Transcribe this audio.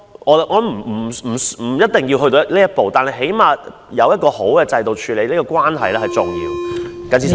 我認為不一定要走到這一步，但起碼有一個良好的制度處理有關矛盾是重要的。